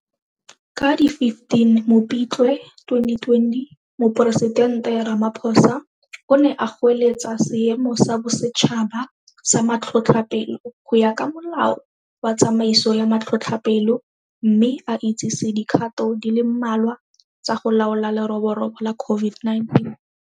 Ka di 15 Mopitlwe 2020, Moporesidente Ramaphosa [, o ne a goeletsa Seemo sa Bosetšhaba sa Matlhotlhapelo go ya ka Molao wa Tsamaiso ya Matlhotlhapelo mme a itsise dikgato di le mmalwa tsa go laola leroborobo la COVID-19.